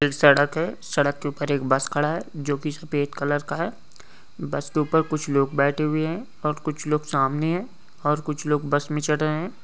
सड़क के ऊपर एक बस खड़ा है जो की सफेद कलर का है बस के ऊपर कुछ लोग बैठे हुए है और कुछ लोग सामने है और कुछ बस में चढ़ रहे है।